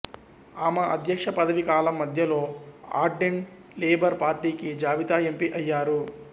ఆమె అధ్యక్ష పదవీ కాలం మధ్యలో ఆర్డెర్న్ లేబర్ పార్టీకి జాబితా ఎంపీ అయ్యారు